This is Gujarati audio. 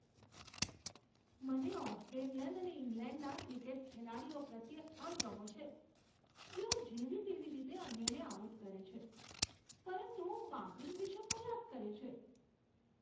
મને ઓસ્ટ્રેલિયન અને ઇંગ્લેન્ડના ક્રિકેટ ખેલાડીઓ પ્રત્યે અણગમો છે, જેઓ જેવી તેવી રીતે અન્યોને આઉટ કરે છે, પરંતુ માંકડિંગ વિશે ફરિયાદ કરે છે.